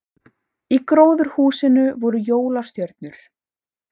Í gróðurhúsinu voru jólastjörnur